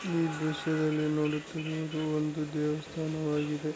ಈ ದೃಶ್ಯದಲ್ಲಿ ನೋಡುತ್ತಿರುವುದು ಒಂದು ದೇವಸ್ಥಾನವಾಗಿದೆ --